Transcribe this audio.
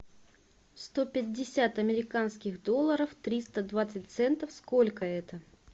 сто пятьдесят американских долларов триста двадцать центов сколько это